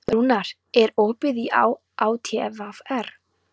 Rúnar, er opið í ÁTVR?